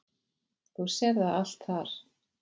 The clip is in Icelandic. Þú sérð það allt þar.